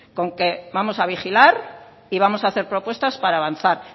con que vamos a vigilar y vamos a hacer propuestas para avanzar